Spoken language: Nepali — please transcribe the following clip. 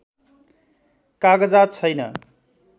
कागजात छैन